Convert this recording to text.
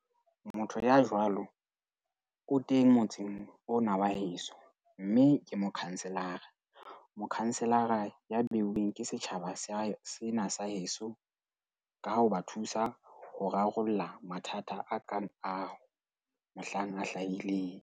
Motho ya jwalo o teng motseng ona wa heso, mme ke mokhanselara. Mokhanselara ya beuweng ke setjhaba sa sena sa heso ka ho ba thusa ho rarolla mathata a kang ao mohlang a hlahileng.